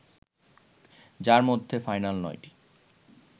যার মধ্যে ফাইনাল ৯টি